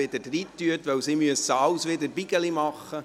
Denn die Stimmenzählenden müssen aus allem wieder Stapel machen.